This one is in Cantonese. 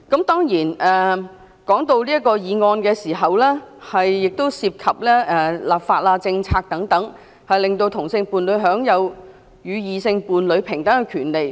當然，這項議案亦涉及立法和政策等，令同性伴侶享有與異性伴侶平等的權利。